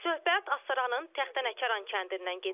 Söhbət Astaranın Taxtanəkəran kəndindən gedir.